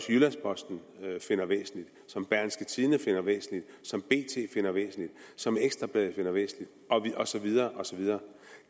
jyllands posten finder væsentligt som berlingske tidende finder væsentligt som bt finder væsentligt som ekstra bladet finder væsentligt og så videre og så videre